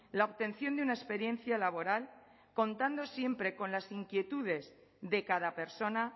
la obtención de una experiencia laboral contando siempre con las inquietudes de cada persona